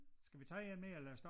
Skal vi tage én mere eller stoppe?